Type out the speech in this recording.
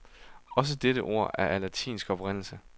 Også dette ord er af latinsk oprindelse.